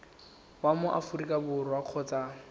wa mo aforika borwa kgotsa